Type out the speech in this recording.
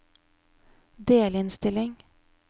delinnstilling